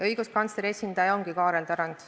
Õiguskantsleri esindaja on Kaarel Tarand.